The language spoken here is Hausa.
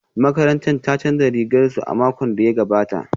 Makarantar ta canza rigar su a makon da ya gabata